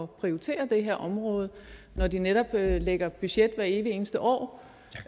prioritere det her område hvor de netop lægger budgetter hver evig eneste år